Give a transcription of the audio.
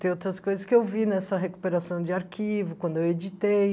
Tem outras coisas que eu vi nessa recuperação de arquivo, quando eu editei.